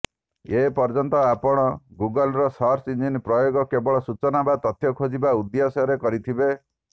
ଏପର୍ଯ୍ୟନ୍ତ ଆପଣ ଗୁଗଲର ସର୍ଚ୍ଚ ଇଂଜିନ ପ୍ରୟୋଗ କେବଳ ସୂଚନା ବା ତଥ୍ୟ ଖୋଜିବା ଉଦ୍ଦେଶ୍ୟରେ କରିଥିବେ